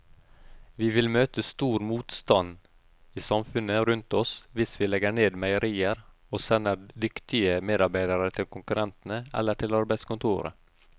Vi vil møte stor motstand i samfunnet rundt oss hvis vi legger ned meierier og sender dyktige medarbeidere til konkurrentene eller til arbeidskontoret.